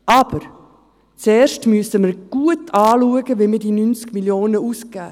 Aber zuerst müssen wir gut schauen, wenn wir diese 90 Mio. Franken ausgeben.